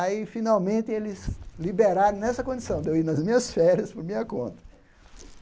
Aí, finalmente, eles liberaram nessa condição de eu ir nas minhas férias por minha conta.